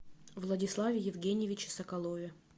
владиславе евгеньевиче соколове